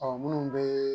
Ɔ minnu bɛ